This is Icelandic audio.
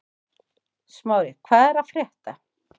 Smári, hvað er að frétta?